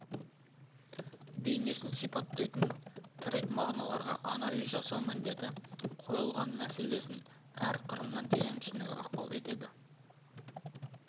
бейнесін сипаттайтын тірек мағыналарға анализ жасау міндеті қойылған мәселесін әр қырынан терең түсінуге ықпал етеді